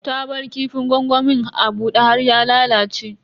Ta bar kifin gwangwamin a bude har ya lalace.